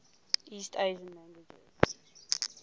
east asian languages